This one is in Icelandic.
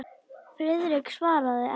Friðrik svaraði ekki.